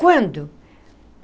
Quando?